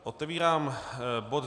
Otevírám bod